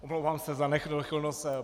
Omlouvám se za nedochvilnost.